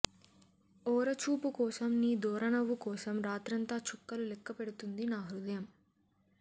ఓర చూపు కోసం నీ దోరనవ్వు కోసం రాత్రంతా చుక్కలు లెక్కపెడుతుంది నా హృదయం